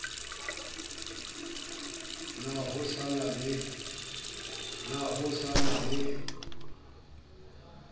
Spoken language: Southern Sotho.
na ho sa na le